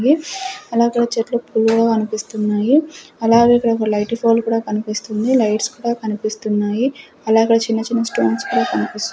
గే అలాగే చెట్లు ఫుల్ కనిపిస్తున్నాయి అలాగే ఇక్కడ ఒక లైట్ ఫోల్ కూడా కనిపిస్తుంది లైట్స్ కూడా కనిపిస్తున్నాయి అలా ఇక్కడ చిన్న-చిన్న స్టోన్స్ కూడా కనిపిస్ --